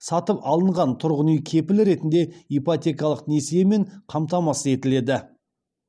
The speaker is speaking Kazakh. сатып алынған тұрғын үй кепіл ретінде ипотекалық несиемен қамтамасыз етіледі